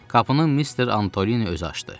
Qapını Mister Antoni özü açdı.